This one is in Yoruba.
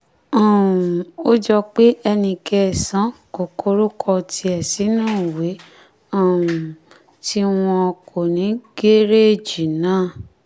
um ó jọ pé ẹnì kẹsàn-án kò kórúkọ tiẹ̀ sínú ìwé um tí wọn kò ní gẹ̀rẹ́ẹ̀jì náà